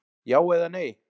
Já eða nei!